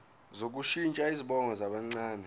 sokushintsha izibongo zabancane